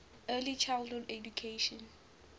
early childhood education